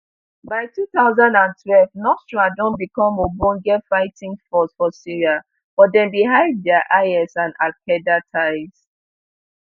by two thousand and twelve nusra don become ogbonge fighting force for syria but dem bin hide dia is and alqaeda ties